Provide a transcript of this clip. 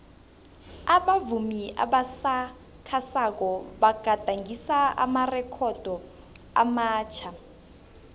abavumi abasakhasako bagadangise amarekhodo amatjha